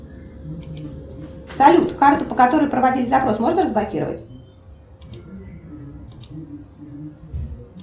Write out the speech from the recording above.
салют карту по которой проводили запрос можно разблокировать